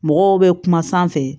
Mɔgɔw bɛ kuma sanfɛ